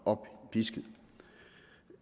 oppisket